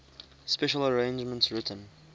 special arrangements written